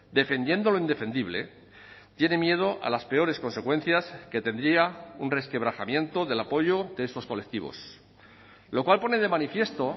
defendiendo lo indefendible tiene miedo a las peores consecuencias que tendría un resquebrajamiento del apoyo de estos colectivos lo cual pone de manifiesto